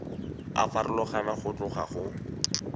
a farologana go tloga go